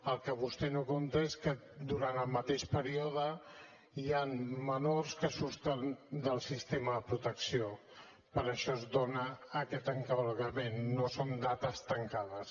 el que vostè no compta és que durant el mateix període hi han menors que surten del sistema de protecció per això es dona aquest encavalcament no són dates tancades